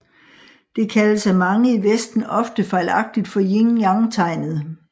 Det kaldes af mange i Vesten ofte fejlagtigt for Yin Yang tegnet